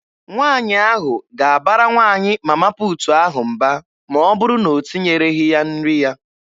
Nwaanyị ahụ ga-abara nwaanyị Mama puutu ahụ mba ma ọ bụrụ na o tinyereghị ya nri ya.